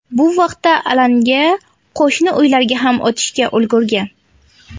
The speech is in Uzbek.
Bu vaqtda alanga qo‘shni uylarga ham o‘tishga ulgurgan.